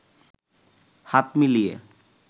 হাত মিলিয়ে